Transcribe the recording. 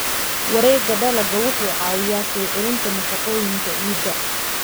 Wareegga dalagga wuxuu caawiyaa soo celinta nafaqooyinka ciidda.